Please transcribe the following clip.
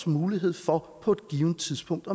mulighed for på et givent tidspunkt